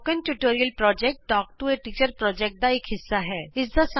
spoken tutorial project talk to a teacher project ਦਾ ਇਕ ਹਿੱਸਾ ਹੈ